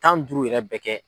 Tan ni duuru yɛrɛ bɛɛ kɛ.